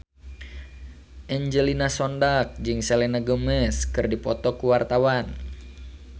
Angelina Sondakh jeung Selena Gomez keur dipoto ku wartawan